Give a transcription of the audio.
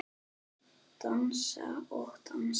Dansa og dansa.